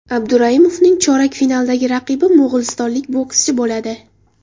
Abduraimovning chorak finaldagi raqibi mo‘g‘ulistonlik bokschi bo‘ladi.